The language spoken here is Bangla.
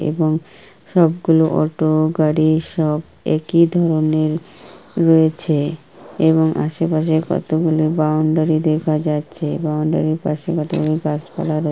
এবং সবগুলো অটো গাড়ি সব একি ধরনের রয়েছে এবং আশেপাশের কতগুলো বাউন্ডারি দেখা যাচ্ছে। বাউন্ডারি পশে কতগুলো গাছ পালা রয়--